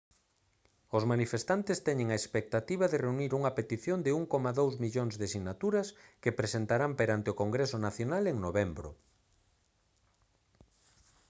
os manifestantes teñen a expectativa de reunir unha petición de 1,2 millóns de sinaturas que presentarán perante o congreso nacional en novembro